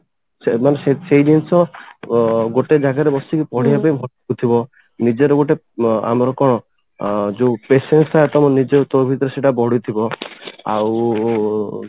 ସେ ମାନେ ସେଇ ସେଇ ଜିନିଷ ଅ ଗୋଟେ ଜାଗାରେ ବସିକି ପଢିବାପାଇଁ ଭଲ ଲାଗୁଥିବ ନିଜର ଗୋଟେ ଆମର କଣ ଅ ଯଉ patience ତମ ନିଜ ତୋ ଭିତରେ ସେଟା ବଢୁଥିବ ଆଉ